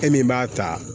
E min b'a ta